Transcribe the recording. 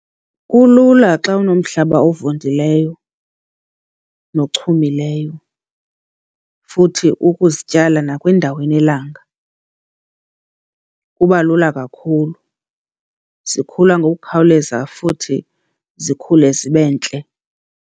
Kulula xa unomhlaba ovundileyo nochumileyo futhi ukuzityala nakwindawo enelanga, kuba lula kakhulu. Zikhula ngokukhawuleza futhi zikhule zibe ntle.